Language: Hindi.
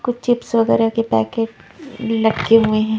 कुछ चिप्स वगैरह के पैकेट लटके हुए हैं।